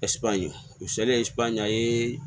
misali ye a ye